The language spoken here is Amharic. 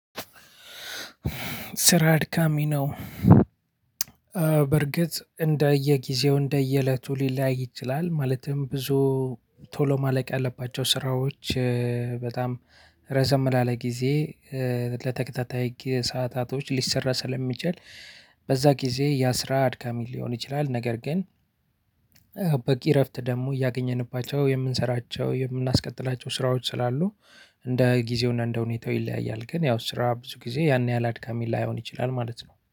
ስራ አድካሚ ነው። በርግጥ እንደየጊዜው እንደየእለቱ ሊለያይ ይችላል ማለትም ብዙ ቶሎ ማለቅ ያለባቸው ስራዎች በጣም ረዘም ላለ ጊዜ ለተከታታይ ሰዓታቶች ሊሰራ ስለሚችል በዛ ጊዜ ያ ስራ አድካሚ ሊሆን ይችላል። ነገር ግን በቂ እረፍት ደግሞ እያገኘንባቸው የምንሰራቸው የምናስቀጥላቸው ስራዎች ስላሉ እንደ ጊዜውና እንደ ሁኔታው ይለያያል። ግን ያው ስራ ብዙ ጊዜ ያን ያህል አድካሚ ላይሆን ይችላል ማለት ነው